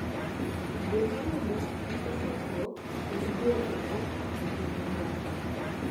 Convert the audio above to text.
Dwe ma rumo nyiso chakruok mar dwe kendo ochung'ne dongruok.